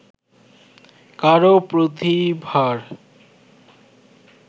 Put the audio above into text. কারও প্রতিভার